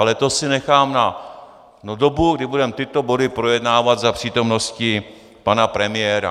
Ale to si nechám na dobu, kdy budeme tyto body projednávat za přítomnosti pana premiéra.